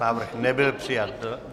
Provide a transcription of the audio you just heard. Návrh nebyl přijat.